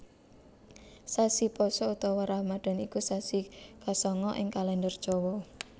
Sasi Pasa utawa Ramadan iku sasi kasanga ing Kalèndher Jawa